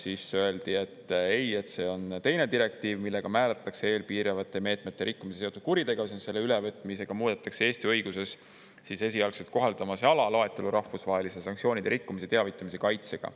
Siis öeldi, et ei, see on teine direktiiv, millega määratletakse EL piiravate meetmete rikkumisega seotud kuritegevus, ja selle ülevõtmisega muudetakse Eesti õiguses esialgset kohaldamise ala loetelu rahvusvaheliste sanktsioonide rikkumise teavitamise kaitsega.